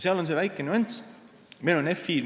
Seal on aga üks väike nüanss.